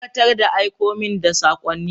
Dakatar da aiko min da sakonni!